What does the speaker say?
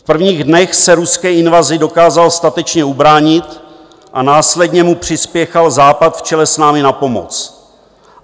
V prvních dnech se ruské invazi dokázal statečně ubránit a následně mu přispěchal Západ v čele s námi na pomoc.